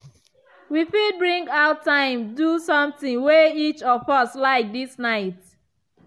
we fit bring out time do something way each of us like this night.